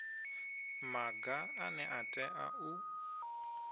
maga ane a tea u